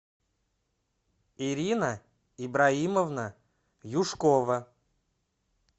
ирина ибраимовна юшкова